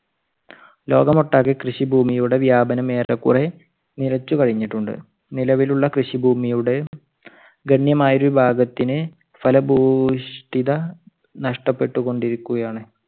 ലോകം ഒട്ടാകെ കൃഷി ഭൂമിയുടെ വ്യാപനം ഏറെക്കുറെ നിലച്ചുകഴിഞ്ഞിട്ടുണ്ട്. നിലവിലുള്ള കൃഷി ഭൂമിയുടെ ഗണ്യമായൊരു ഭാഗത്തിന് ഫലഭൂവിഷ്ടിത നഷ്ടപെട്ടുകൊണ്ട് ഇരിക്കുകയാണ്.